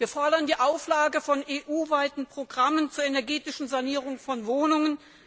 Wir fordern die Auflage von EU weiten Programmen zur energetischen Sanierung von Wohnungen.